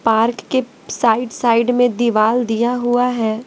Park के side side में दीवार दिया हुआ है।